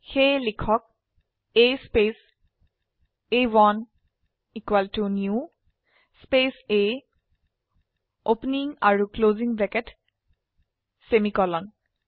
সেয়ে লিখক A space a1new space A opening আৰু ক্লোসিং ব্ৰেকেট সেমিকোলন